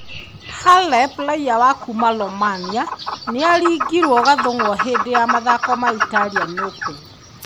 Halep, raiya wa kuuma Romania, nĩ aringirwo gathũng'wa . Hĩndĩ ya mathako ma Italian Open.